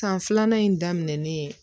San filanan in daminɛnen ye